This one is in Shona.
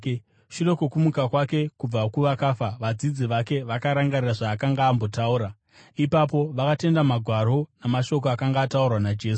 Shure kwokumuka kwake kubva kuvakafa, vadzidzi vake vakarangarira zvaakanga ambotaura. Ipapo vakatenda Magwaro namashoko akanga ataurwa naJesu.